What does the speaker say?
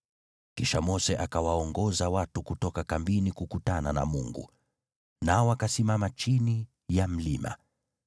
Kisha Mose akawaongoza watu kutoka kambini kukutana na Mungu, nao wakasimama chini ya mlima.